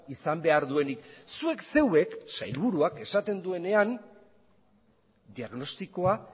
izan behar duenik zuek zeuek sailburuak esaten duenean diagnostikoa